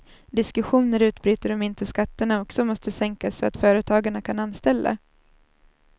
Diskussioner utbryter om inte skatterna också måste sänkas så att företagarna kan anställa.